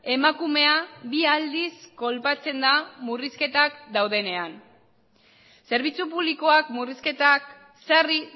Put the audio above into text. emakumea bi aldiz kolpatzen da murrizketak daudenean zerbitzu publikoak murrizketak sarri